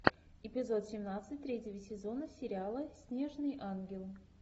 эпизод семнадцать третьего сезона сериала снежный ангел